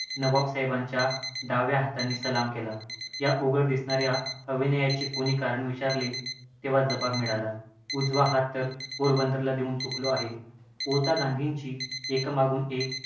नवावसाहेबांना डाव्या हाताने सलाम केला. या उघड दिगर्णा या अविनयाचे कोणी कारण विचारले तेव्हा जवाब मिळाला, उजवा हात तर पोरबंदरला देऊन चुकलो आहे. आता गांधीची एकामागून एक